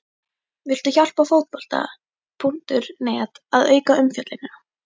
Viltu hjálpa Fótbolta.net að auka umfjöllunina?